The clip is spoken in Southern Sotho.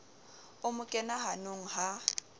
o mo kena hanong ha